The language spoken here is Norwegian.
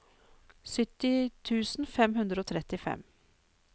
sytti tusen fem hundre og trettifem